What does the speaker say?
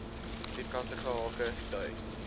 vierkantige hake dui